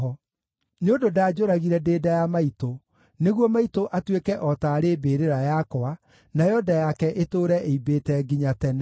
Nĩ ũndũ ndanjũragire ndĩ nda ya maitũ, nĩguo maitũ atuĩke o taarĩ mbĩrĩra yakwa, nayo nda yake ĩtũũre ĩimbĩte nginya tene.